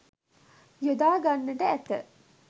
යොදා ගන්නට ඇත.